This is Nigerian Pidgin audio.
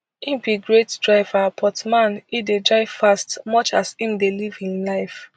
im be great driver but man e dey drive fast much as im dey live im life